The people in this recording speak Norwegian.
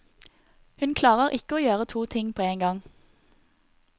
Hun klarer ikke å gjøre to ting på en gang.